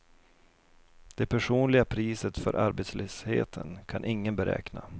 Det personliga priset för arbetslösheten kan ingen beräkna.